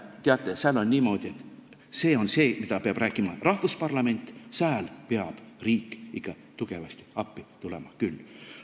Teate, seal on niimoodi – see on see, mida peab rääkima parlament –, et sääl peab riik tugevasti ikka appi tulema küll.